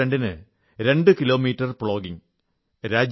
October 2 ന് രണ്ടുകിലോമീറ്റർ plogging